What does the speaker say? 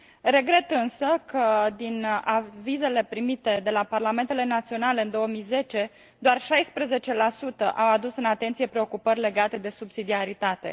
Regret însă că, din avizele primite de la parlamentele naționale în 2010, doar 16 au adus în atenție preocupări legate de subsidiaritate.